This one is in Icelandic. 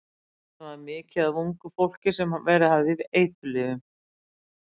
Þarna var mikið af ungu fólki sem verið hafði í eiturlyfjum.